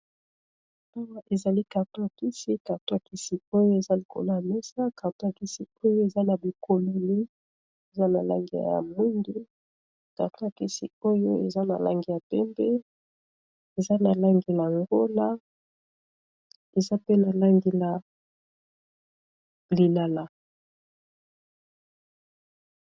Awa ezali kartoakisi kartwakisi oyo eza likolo yamesa kartowakisi oyo eza na bikololi eza na langiya ya mwindi kartwakisi oyo eza na langi ya tembe eza na langi ya ngola eza pe na langi na lilala.